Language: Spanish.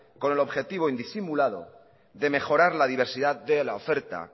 con el objetivo indisimulado de mejorar la diversidad de la oferta